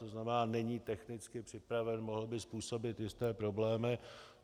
To znamená, není technicky připraven, mohl by způsobit jisté problémy.